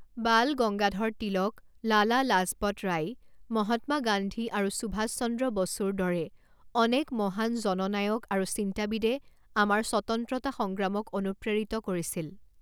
বাল গংগাধৰ তিলক, লালা লাজপৎ ৰায়, মহাত্মা গান্ধী আৰু সুভাষ চন্দ্ৰ বসুৰ দৰে অনেক মহান জননায়ক আৰু চিন্তাবিদে আমাৰ স্বতন্ত্ৰতা সংগ্ৰামক অনুপ্ৰেৰিত কৰিছিল।